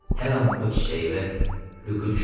Hər an o çiçəyi və Lükü düşündüm.